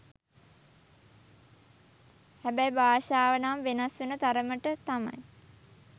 හැබැයි භාෂාව නම් වෙනස් වෙන තරමට තමයි